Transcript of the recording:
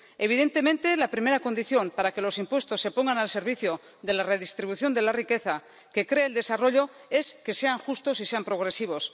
Evidentemente, la primera condición para que los impuestos se pongan al servicio de la redistribución de la riqueza que crea el desarrollo es que sean justos y sean progresivos.